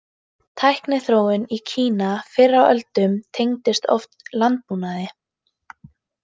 Tækniþróun í Kína fyrr á öldum tengdist oft landbúnaði.